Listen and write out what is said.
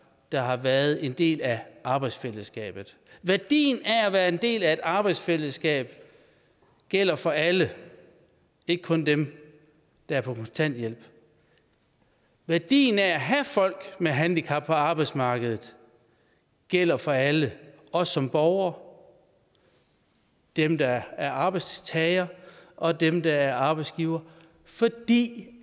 der har været en del af arbejdsfællesskabet værdien af at være en del af et arbejdsfællesskab gælder for alle ikke kun dem der er på kontanthjælp værdien af at have folk med handicap på arbejdsmarkedet gælder for alle os som borgere dem der er arbejdstagere og dem der er arbejdsgivere fordi